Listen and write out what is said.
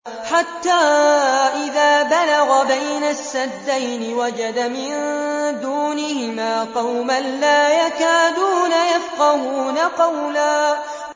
حَتَّىٰ إِذَا بَلَغَ بَيْنَ السَّدَّيْنِ وَجَدَ مِن دُونِهِمَا قَوْمًا لَّا يَكَادُونَ يَفْقَهُونَ قَوْلًا